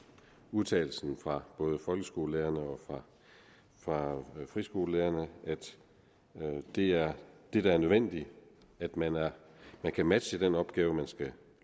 udtalelsen fra både folkeskolelærerne og friskolelærerne at det er det der er nødvendigt at man man kan matche den opgave man skal